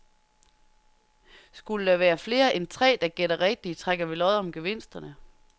Skulle der være flere end tre, der gætter rigtigt, trækker vi lod om gevinsterne.